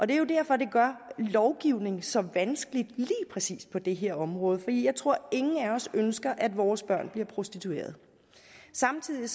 det er jo derfor det gør lovgivning så vanskelig lige præcis på det her område for jeg tror at ingen af os ønsker at vores børn bliver prostituerede samtidig